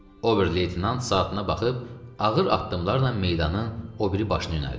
Oberleytenant saatına baxıb ağır addımlarla meydanın o biri başını yönəldi.